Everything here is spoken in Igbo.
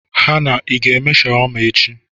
Henna l, Ị ga-eme shawarma echi?